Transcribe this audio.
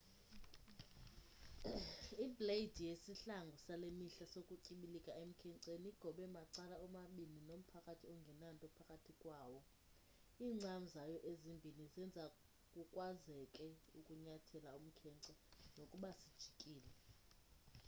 ibleyidi yesihlangu sale mihla sokutyibilika emkhenceni igobe macala omabini nomphakathi ongenanto phakathi kwawo iincam zayo ezimbini zenza kukwazeke ukunyathela umkhence nokuba sijikile